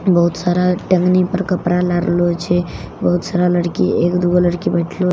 बहुत सारा टंगनी पर कपड़ा लारलो छे बहुत सारा लड़की एक दु गो लड़की बइठलो--